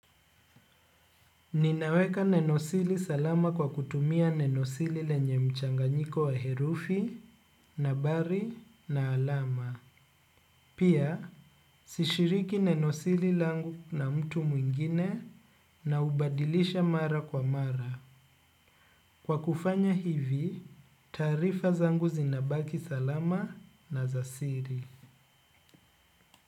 Ninaweka neno siri salama kwa kutumia neno siri lenye mchanganyiko wa herufi, nambari, na alama. Pia, sishiriki neno siri langu na mtu mwingine na hubadilisha mara kwa mara. Kwa kufanya hivi, taarifa zangu zinabaki salama na za siri.